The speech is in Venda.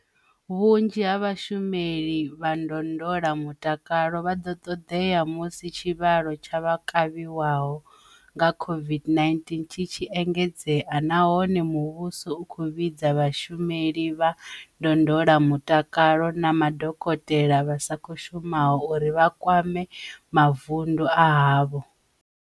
Vhunzhi ha vhashumeli vha ndondolamutakalo vha ḓo ṱoḓea musi tshivhalo tsha vha kavhiwaho nga COVID-19 tshi tshi engedzea nahone muvhuso u khou vhidza vhashumeli vha ndondolamu-takalo na madokotela vha sa khou shumaho uri vha kwame mavundu a havho.